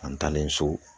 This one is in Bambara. An taalen so